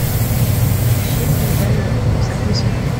фильм медальон загрузи